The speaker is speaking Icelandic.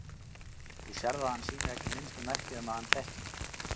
Þú sérð að hann sýnir ekki minnstu merki um að hann þekki mig.